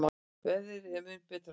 Veðrið er mun betra núna.